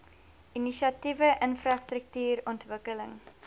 inisiatiewe infrastruktuur ontwikkeling